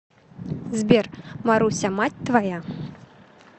сбер маруся мать твоя